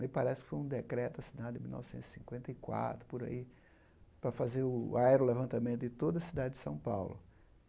Me parece que foi um decreto assinado em mil novecentos e cinquenta e quatro, por aí, para fazer o aerolevantamento em toda a cidade de São Paulo.